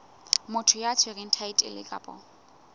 motho ya tshwereng thaetlele kapa